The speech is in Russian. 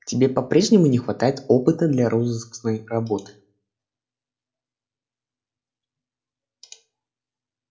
тебе по-прежнему не хватает опыта для розыскной работы